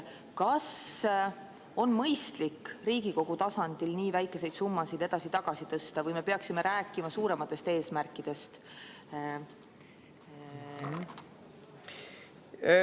Kas on mõistlik Riigikogu tasandil nii väikseid summasid edasi-tagasi tõsta või peaksime rääkima suurematest eesmärkidest?